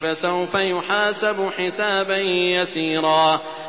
فَسَوْفَ يُحَاسَبُ حِسَابًا يَسِيرًا